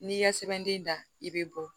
N'i ka sɛbɛnden da i bɛ bɔ